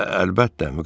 Əlbəttə, Müqəddəs ata.